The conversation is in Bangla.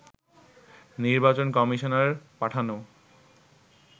নির্বাচন কমিশনের পাঠানো